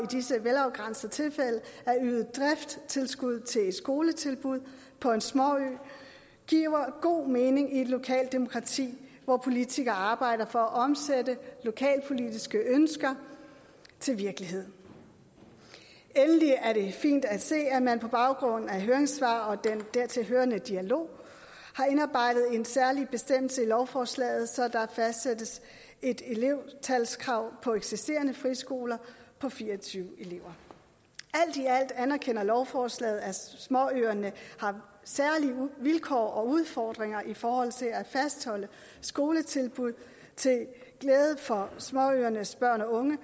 disse velafgrænsede tilfælde at yde driftstilskud til et skoletilbud på en småø giver god mening i et lokalt demokrati hvor politikere arbejder for at omsætte lokalpolitiske ønsker til virkelighed endelig er det fint at se at man på baggrund af høringssvar og den dertilhørende dialog har indarbejdet en særlig bestemmelse i lovforslaget så der fastsættes et elevtalskrav på eksisterende friskoler på fire og tyve elever alt i alt anerkender lovforslaget at småøerne har særlige vilkår og udfordringer i forhold til at fastholde skoletilbud til glæde for småøernes børn og unge